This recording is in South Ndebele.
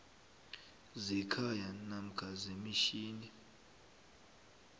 zekhaya namkha imitjhini